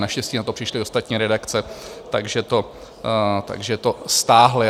Naštěstí na to přišly ostatní redakce, takže to stáhli.